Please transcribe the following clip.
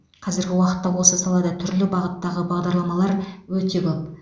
қазіргі уақытта осы салада түрлі бағыттағы бағдарламалар өте көп